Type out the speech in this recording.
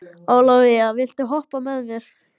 Ólavía, viltu hoppa með mér?